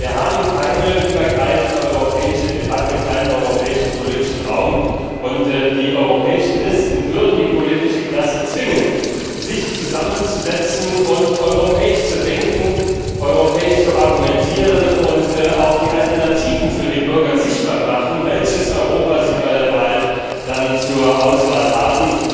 Wir haben keine übergreifende europäische Debatte, keinen europäischen politischen Raum, und die europäischen Listen würden die politische Klasse zwingen, sich zusammenzusetzen und europäisch zu denken, europäisch zu argumentieren und auch die Alternativen für die Bürger sichtbar machen, welches Europa sie bei der Wahl dann zur Auswahl haben.